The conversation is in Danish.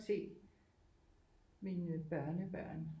Se mine børnebørn